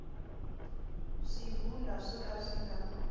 swivulwa swo ka swi nga